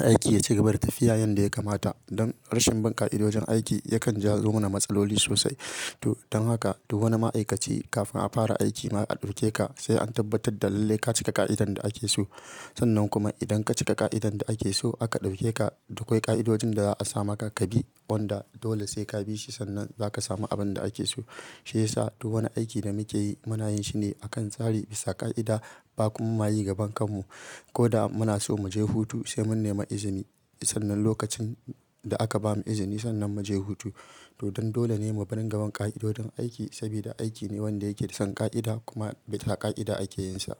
aiki ya cigaba da tafiya yanda ya kamata. Don rashin bin ƙa'idojin aiki yakan jawo mana matsaloli sosai. Don haka duk wani ma'aikaci kafin a fara aiki a ɗauke ka sai an tabbatar da lalle ka cika ƙa'idan da ake so. Sannan kuma idan ka cika ƙa'idan da ake so aka ɗauke ka, duk akwai ƙa'idojin da za a sa maka ka bi wanda dole sai ka bi shi sannan za ka samu abin da ake so. Shi yasa duk wani aiki da muke yi muna yin shi ne a kan tsari bisa ƙa'ida ba kuma mayo gaban kan mu. Ko da muna so mu je hutu sai mun nemi izini. Sannan lokacin da aka bamu izini sannan mu je hutu. To don dole ne mu barin bin ƙa'idodin aiki sabida aiki ne wanda yake da san ƙa'ida kuma bisa ƙa'ida ake yin sa.